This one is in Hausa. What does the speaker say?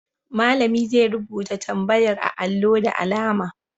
Malami zai rubuta tambayar a allo da alama.